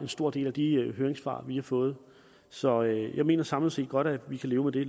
stor del af de høringssvar vi har fået så jeg mener samlet set godt at vi kan leve med det